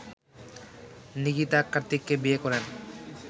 নিকিতা কার্তিককে বিয়ে করেন